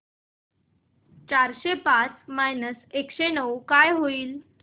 चारशे पाच मायनस एकशे नऊ काय होईल